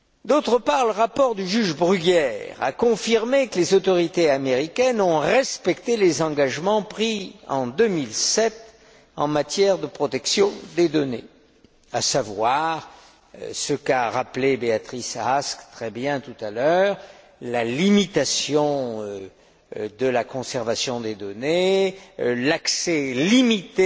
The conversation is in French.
D'autre part, le rapport du juge Bruguière a confirmé que les autorités américaines avaient respecté les engagements pris en 2007 en matière de protection des données, à savoir ce qu'a très bien rappelé Béatrice Ask tout à l'heure la limitation de la conservation des données et l'accès limité